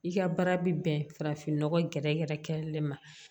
I ka baara bɛ bɛn farafinnɔgɔ gɛrɛgɛrɛ kɛlen ma